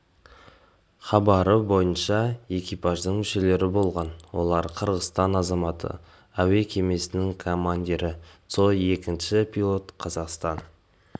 хабары бойынша экипаждың мүшелері болған олар қырғызстан азаматы әуе кемесінің командирі цой екінші пилот қазақстан